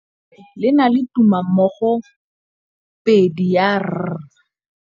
Lefoko la rre, le na le tumammogôpedi ya, r.